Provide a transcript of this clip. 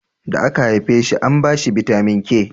da aka haife shi an bashi bitamin k